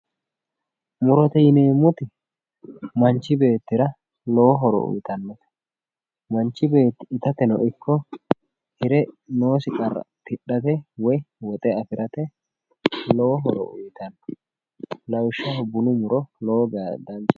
murote yineemmoti manchi beettira lowo horo uyiitannote manchi beetti itateno ikko hire noosi qarra tidhate woy woxe afirate lowo horo uyiitanno lawishshaho bunu muro lowo geya danchate.